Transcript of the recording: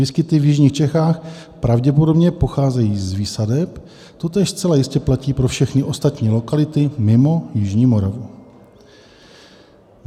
Výskyty v jižních Čechách pravděpodobně pocházejí z výsadeb, totéž zcela jistě platí pro všechny ostatní lokality mimo jižní Moravu.